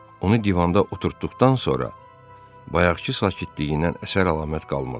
Onu divanda oturtdıqdan sonra bayaqkı sakitliyindən əsər-əlamət qalmadı.